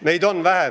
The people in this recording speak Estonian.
Meid on vähe.